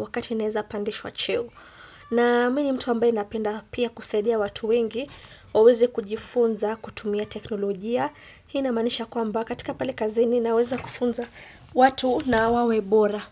wakati naeza pandishwa cheo. Na mi ni mtu ambaye napenda pia kusaidia watu wengi waweze kujifunza kutumia teknolojia. Hii namaanisha kwamba katika pali kazini naweza kufunza watu na wawe bora.